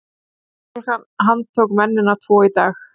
Lögreglan handtók mennina tvo í dag